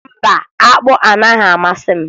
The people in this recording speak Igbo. Mba, akpụ anaghị amasị m